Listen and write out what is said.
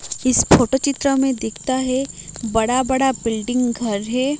इस फोटो चित्र में दिखता है बड़ा बड़ा बिल्डिंग घर हैं।